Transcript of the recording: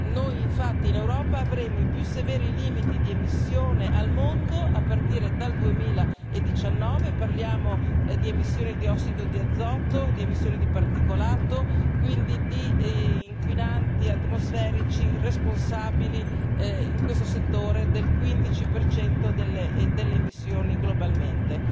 Noi infatti in Europa avremo i più severi limiti di emissione al mondo a partire dal 2019 parliamo di emissioni di ossido di azoto, di emissione di particolato, quindi di inquinanti atmosferici responsabili in questo settore del 15 delle emissioni globalmente.